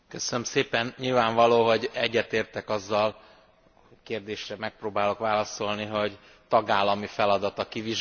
Nyilvánvaló, hogy egyetértek azzal a kérdésre megpróbálok válaszolni hogy tagállami feladat a kivizsgálás.